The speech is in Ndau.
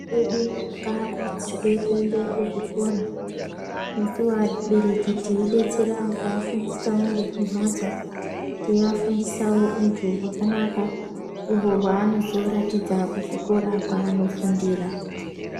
Ana edu ngaa kurudzirwe kuende nu zvikora nesuwo vabereki tei detsera kua fundisawo ngeku mbatso tei afundisawo untu hwakanaka uhwo hwaanozo ratidza ku chikora kwaano fundira.